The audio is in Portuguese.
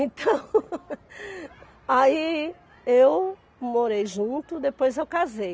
Então Aí eu morei junto, depois eu casei.